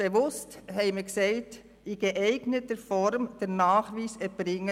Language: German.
Bewusst haben wir gesagt: «[…] in geeigneter Form den Nachweis [ihrer Eignung